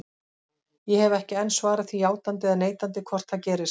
Ég hef ekki enn svarað því játandi eða neitandi hvort það gerist.